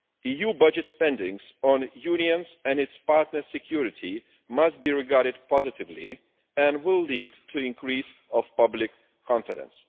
EU budget spending on the Union's and its partners' security must be regarded positively and will lead to an increase in public confidence.